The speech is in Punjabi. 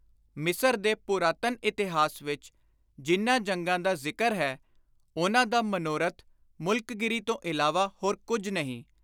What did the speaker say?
ਮਿਸਰ ਦੇ ਪੁਰਾਤਨ ਇਤਿਹਾਸ ਵਿਚ ਜਿਨ੍ਹਾਂ ਜੰਗਾਂ ਦਾ ਜ਼ਿਕਰ ਹੈ, ਉਨ੍ਹਾਂ ਦਾ ਮਨੋਰਥ ਮੁਲਕਗੀਰੀ ਤੋਂ ਇਲਾਵਾ ਹੋਰ ਕੁਝ ਨਹੀਂ।